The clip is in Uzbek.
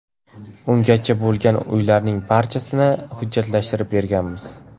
Ungacha bo‘lgan uylarning barchasini hujjatlashtirib berganmiz.